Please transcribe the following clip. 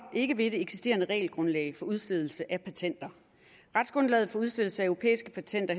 ikke ved det eksisterende regelgrundlag for udstedelse af patenter retsgrundlaget for udstedelse af europæiske patenter